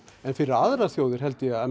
en fyrir aðrar þjóðir held ég að